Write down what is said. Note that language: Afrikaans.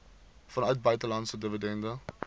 vanuit buitelandse dividende